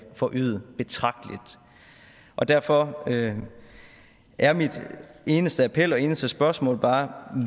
forøget betragteligt og derfor er min eneste appel og mit eneste spørgsmål bare